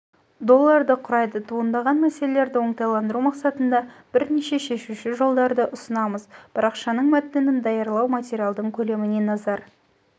долларды құрайды туындаған мәселерді оңтайландыру мақсатында бірнеше шешуші жолдарды ұсынамыз парақшаның мәтінін даярлау материалдың көлеміне назар